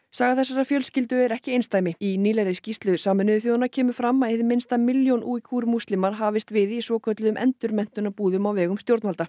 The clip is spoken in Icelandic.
saga þessarar fjölskyldu er ekki einsdæmi í nýlegri skýrslu Sameinuðu þjóðanna kemur fram að hið minnsta milljón Uighur múslimar hafast við í svokölluðum endurmenntunarbúðum á vegum stjórnvalda